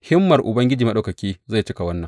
Himmar Ubangiji Maɗaukaki zai cika wannan.